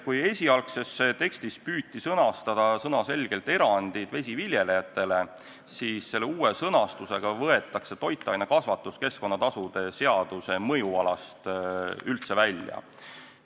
Kui esialgses tekstis püüti sõnastada sõnaselgelt erandid vesiviljelejatele, siis uue sõnastusega võetakse toitainekasvatus keskkonnatasude seaduse mõjualast üldse välja.